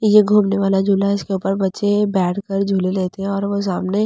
ये घूमने वाला झूला है जिसके ऊपर बच्‍चें बैठ कर झूल लये थे और वो सामने ऐलों --